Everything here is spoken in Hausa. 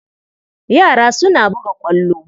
Yara suna buga ƙwallo.